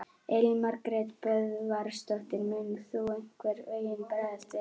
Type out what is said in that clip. Elín Margrét Böðvarsdóttir: Mun þú einhvern veginn bregðast við?